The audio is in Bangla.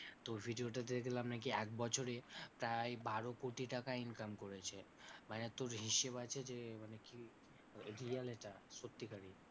তো video তে দেখলাম নাকি একবছরে প্রায় বারো কোটি টাকা income করেছে, মানে তোর হিসেব আছে যে মানে কি real এটা সত্যিকারের।